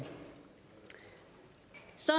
så